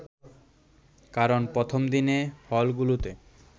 কারণ প্রথমদিনে হলগুলোতে